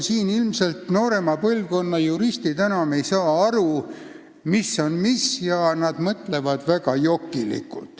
Noorema põlvkonna juristid ilmselt enam ei saa aru, mis on mis.